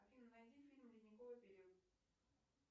афина найди фильм ледниковый период